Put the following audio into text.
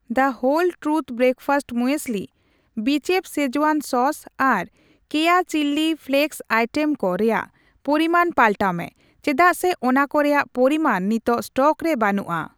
ᱫᱚ Whole Truth breakfast muesli, ᱵᱤᱪᱮᱯᱷ schezwan sauce ᱟᱨ ᱠᱮᱭᱟ ᱪᱤᱞᱞᱤ ᱯᱷᱞᱮᱠᱥ ᱟᱭᱴᱮᱢᱠᱚ ᱨᱮᱭᱟᱜ ᱯᱚᱨᱤᱢᱟᱱ ᱯᱟᱞᱴᱟᱣ ᱢᱮ ᱪᱮᱫᱟᱜ ᱥᱮ ᱚᱱᱟᱠᱚ ᱨᱮᱭᱟᱜ ᱯᱚᱨᱤᱢᱟᱱ ᱱᱤᱛᱟᱜ ᱥᱴᱚᱠ ᱨᱮ ᱵᱟᱹᱱᱩᱜᱼᱟ ᱾